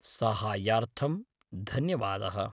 साहाय्यार्थं धन्यवादः।